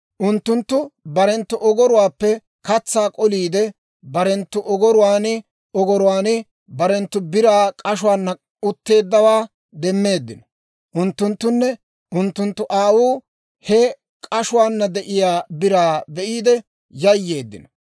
Unttunttu barenttu ogoruwaappe katsaa k'oliidde, barenttu ogoruwaan ogoruwaan barenttu biraa k'ashuwaana utteeddawaa demmeeddino. Unttunttunne unttunttu aawuu he k'ashuwaana de'iyaa biraa be'iide yayyeeddino.